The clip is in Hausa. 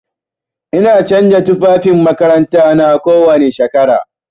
Ina canza tufafin makarantana kowani shekara.